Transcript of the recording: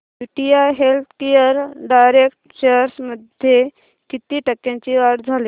UTI healthcare direct shares मध्ये किती टक्क्यांची वाढ झाली